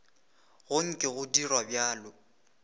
go nke go dirwa bjalo